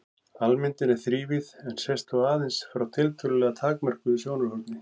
Almyndin er þrívíð en sést þó aðeins frá tiltölulega takmörkuðu sjónarhorni.